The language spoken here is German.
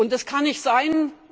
Das kann nicht sein.